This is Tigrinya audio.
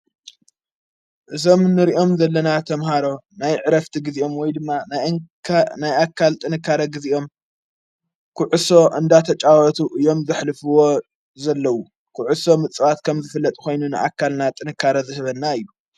እዞም ንርእኦም ዘለና ተምሃሮ ናይ ዕረፍቲ ጊዜኦም ወይ ድማ ንካ ናይኣካል ጥንካረ ጊዜኦም ክዑሶ እንዳተጫወቱ እዮም ዘኅልፍዎ ዘለዉ ክዑሶ ምጽባት ከም ዝፍለጥ ኾይኑ ንኣካልና ጥንካረ ዘኅበና እዩ።